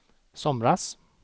somras